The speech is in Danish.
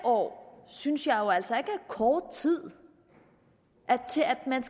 år synes jeg jo altså ikke er kort tid til at man